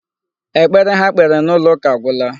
Ekpere ha kpere n'ụlọ ụka agwụla.